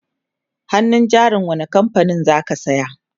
hannun jarin wani kamfanin zaka saya?